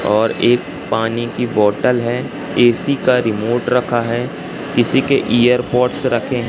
और एक पानी की बोतल है ए_सी का रिमोट रखा है किसी के इयरबड्स रखें--